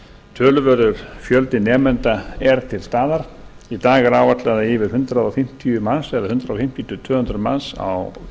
töluverður fjöldi nemenda er til staðar í dag er áætlað að yfir hundrað fimmtíu til tvö hundruð manns á